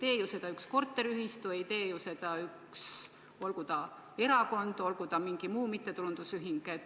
Ei tee ju seda üks korteriühistu, ei tee ju seda üks erakond või mingi mittetulundusühing.